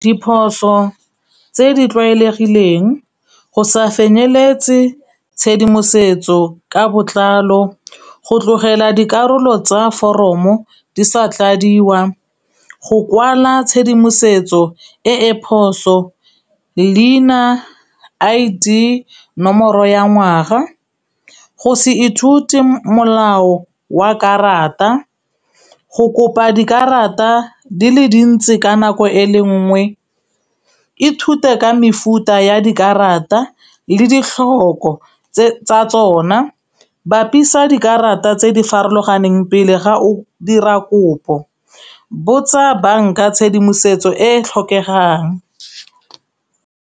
Diphoso tse di tlwaelegileng, go sa feleletse tshedimosetso ka botlalo, go tlogela dikarolo tsa foromo di sa tladiwa, go kwala tshedimosetso e e phoso, leina I_D nomoro ya ngwaga, go se ithute molao wa karata, go kopa dikarata di le dintsi ka nako e le nngwe. Ithute ka mefuta ya dikarata le ditlhoko tsa tsona, bapisa dikarata tse di farologaneng pele ga o dira kopo, botsa banka tshedimosetso e e tlhokegang.